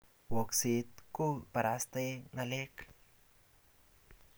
wakset ko barastae ngalek